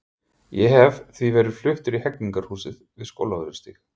Ég hef því verið fluttur í Hegningarhúsið við Skólavörðustíg.